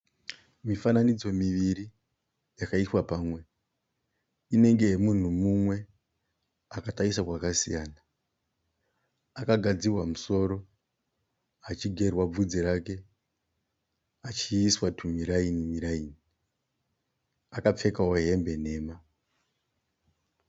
Mifananidzo miviri yakaiswa pamwe. Inenge yemunhu mumwe akatarisa kwakasiyana. Akagadzirwa musoro achigerwa bvudzi rake achiiswa tumiraini miraini. Akapfekawo hembe nhema.